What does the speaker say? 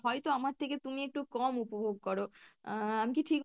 হয়ত আমার থেকে তুমি একটু কম উপভোগ করো আহ আমি কী ঠিক